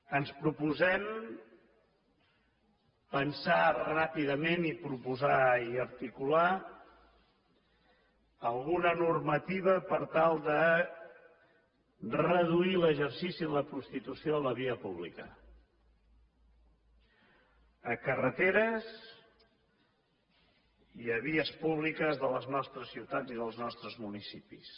ens proposem pensar ràpidament i proposar i articular alguna normativa per tal de reduir l’exercici de la prostitució a la via pública a carreteres i a vies públiques de les nostres ciutats i dels nostres municipis